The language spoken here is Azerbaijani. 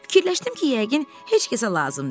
Fikirləşdim ki, yəqin heç kəsə lazım deyil.